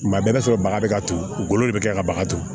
Tuma bɛɛ i b'a sɔrɔ baga bɛ ka turu u golo de bɛ kɛ ka baga to